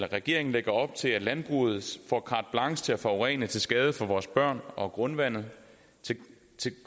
regeringen lægger op til at landbruget får carte blanche til at forurene til skade for vores børn og grundvandet til